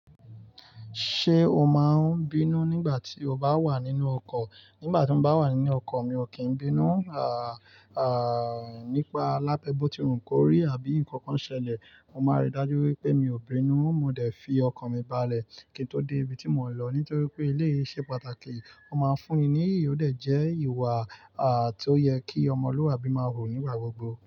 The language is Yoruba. Ṣé o máa n bínú nígbà tí o bá wà nínú ọkọ̀? Nígbà tí mo bá wà nínú ọkọ̀ mi ò kí n bínú, nípa lábẹ́ bó ti hùn kórí àbí nǹkan kan ṣẹlẹ̀, mo máa rí i dájú wípé mi ò bínú. Mo dẹ̀ fi ọkọ̀ mi balẹ̀ kí n tó dé ibi tí mò ń lọ nítorí pé ilé ṣe pàtàkì, ó máa ń fún ni ìyí, ó dẹ̀ jẹ́ ìwà à tó yẹ kí ọmọlúàbí máa rò nígbà gbogbo.